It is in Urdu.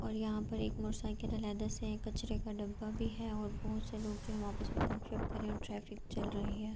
اور یہاں پر ایک موٹر سائیکل علیدہ سے ہے۔ ایک کچرے کا ڈبّ بھی ہے اور بھوت سے لوگ جو ہے آپس مے گپشپ کر رہے ہے اور ٹریفک چل رہی ہے۔